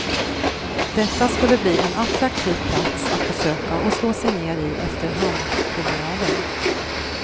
Detta skulle bli en attraktiv plats att besöka och slå sig ner i efter hamnpromenaden.